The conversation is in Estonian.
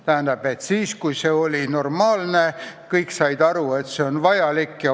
Tähendab siis, kui see oli normaalne, kui kõik said aru, et see on vajalik.